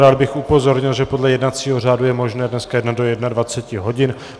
Rád bych upozornil, že podle jednacího řádu je možné dneska jednat do 21 hodin.